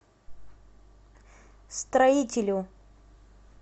строителю